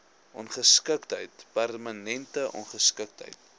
ongeskiktheid permanente ongeskiktheid